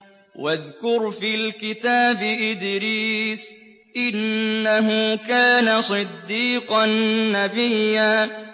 وَاذْكُرْ فِي الْكِتَابِ إِدْرِيسَ ۚ إِنَّهُ كَانَ صِدِّيقًا نَّبِيًّا